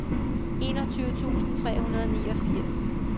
enogtyve tusind tre hundrede og niogfirs